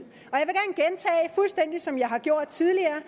jeg som jeg har gjort tidligere